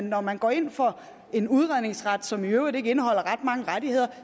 når man går ind for en udredningsret som i øvrigt ikke indeholder ret mange rettigheder